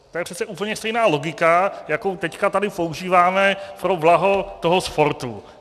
To je přece úplně stejná logika, jakou teď tady používáme pro blaho toho sportu.